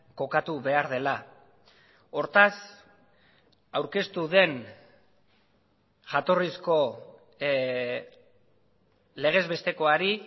kokatu behar dela hortaz aurkeztu den jatorrizko legez bestekoari